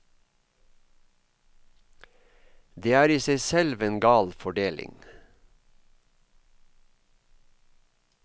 Det er i seg selv en gal fordeling.